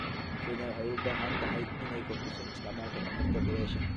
Kenya waxay u baahan tahay inay kordhiso isticmaalka tamarta dabaysha.